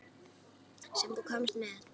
Sem þú komst með.